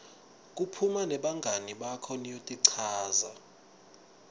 kuphuma nebangani bakho niyotichaza